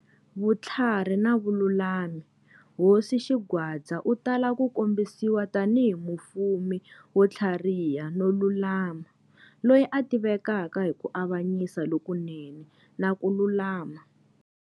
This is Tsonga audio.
Vutlhari na Vululami-Hosi Xingwadza u tala ku kombisiwa tanihi mufumi wo tlhariha no lulama, loyi a tivekaka hi ku avanyisa lokunene na ku lulama.